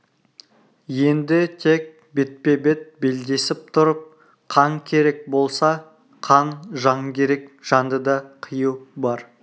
енді тек бетпе-бет белдесіп тұрып қан керек болса қан жан керек жанды да қию бар